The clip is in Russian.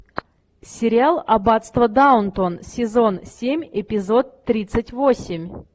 сериал аббатство даунтон сезон семь эпизод тридцать восемь